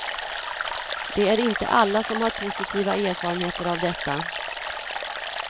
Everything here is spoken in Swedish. Det är inte alla som har positiva erfarenheter av detta.